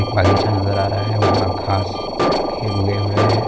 एक बगीचा नज़र आ रहा है वहाँ घाँस भी उगे हुए है।